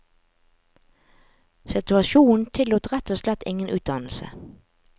Situasjonen tillot rett og slett ingen utdannelse.